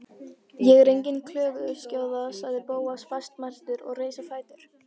Ég er engin klöguskjóða- sagði Bóas fastmæltur og reis á fætur.